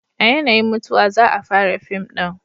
a yanayin mutuwa za a fara fim din